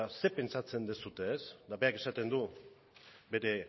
ze pentsatzen duzue eta berak esaten du bere